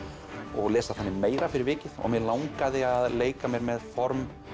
og lesa þannig meira fyrir vikið og mig langaði að leika mér með form